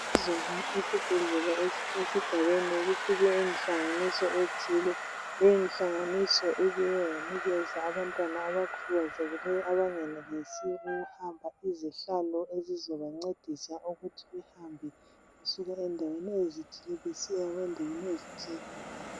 Izolo esibhedlela esisesigabeni kufike inhlanganiso ethile. Leyinhlanganiso ibuye yanikeza abantwana abakhubazekileyo abangenelisiyo ukuhamba izihlalo ezizabancedisa ukuthi behambe besuka endaweni ezithile besiya endaweni ezithile.